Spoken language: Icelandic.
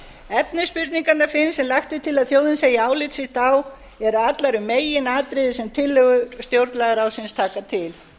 efni spurninganna fimm sem lagt er til að þjóðin segi álit sitt á eru allar um meginatriði sem tillögur stjórnlagaráðsins taka til